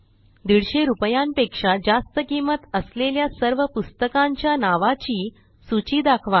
दिडशे रूपयांपेक्षा जास्त किंमत असलेल्या सर्व पुस्तकांच्या नावाची सूची दाखवा